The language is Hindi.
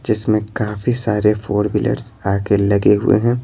जिसमें काफी सारे फोर व्हीलर्स आके लगे हुए हैं।